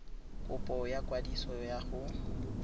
kopo ya kwadiso ya go